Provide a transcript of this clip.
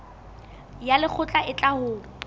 ya lekgotla e tla ho